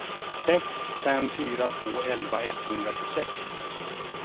sex fem fyra två elva etthundratjugosex